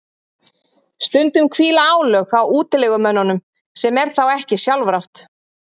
stundum hvíla álög á útilegumönnunum sem er þá ekki sjálfrátt